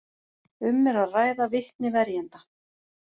Um er að ræða vitni verjenda